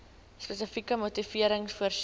spesifieke motivering voorsien